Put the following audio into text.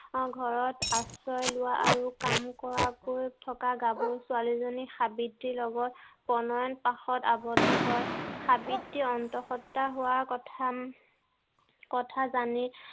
অ ঘৰত আশ্ৰয় লোৱা আৰু কাম কৰাকৈ থকা গাভৰু ছোৱালীজনী সাবিত্ৰীৰ লগত প্ৰণয়ন পাকত আবদ্ধ হৈ সাবিত্ৰীৰ অন্তঃসন্তা হোৱা কথা হম কথা জানি